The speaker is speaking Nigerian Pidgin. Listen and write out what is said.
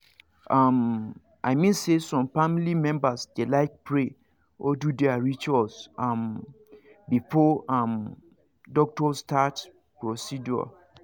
um i mean say some family members dey like pray or do their rituals um before um doctor start procedure